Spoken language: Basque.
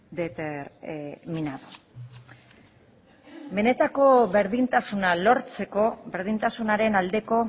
determinado benetako berdintasuna lortzeko berdintasunaren aldeko